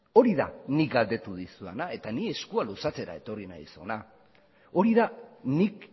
hori da nik galdetu dizudana eta ni eskua luzatzera etorri naiz hona hori da nik